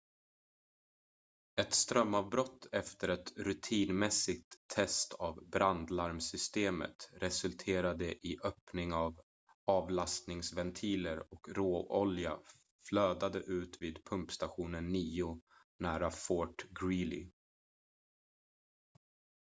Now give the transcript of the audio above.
ett strömavbrott efter ett rutinmässigt test av brandlarmsystemet resulterade i öppning av avlastningsventiler och råolja flödade ut vid pumpstation 9 nära fort greely